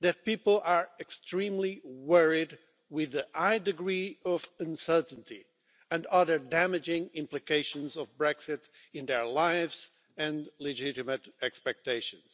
that people are extremely worried about the high degree of uncertainty and other damaging implications of Brexit in their lives and legitimate expectations.